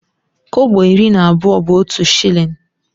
Kọbọ iri na abụọ bu otu shillin.